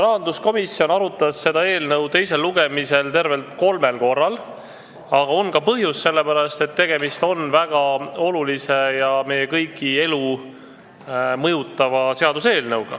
Rahanduskomisjon arutas seda seaduseelnõu teisel lugemisel tervelt kolmel korral, aga on ka põhjust, sellepärast et see on väga oluline ja mõjutab meie kõigi elu.